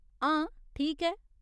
हां, ठीक ऐ।